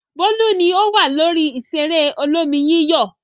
Bólú ni ó wà lórí ìṣeré olómi-yíyọ̀.